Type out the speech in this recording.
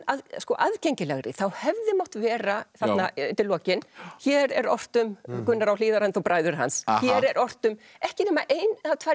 aðgengilegri þá hefði mátt vera þarna undir lokin hér er ort um Gunnar á Hlíðarenda og bræður hans hér er ort um ekki nema ein eða tvær